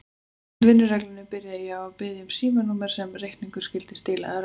Samkvæmt vinnureglunni byrjaði ég á því að biðja um símanúmerið sem reikningurinn skyldi stílaður á.